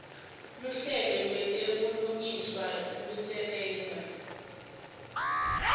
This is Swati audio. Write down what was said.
luhlelo lwetebulungiswa lusebenta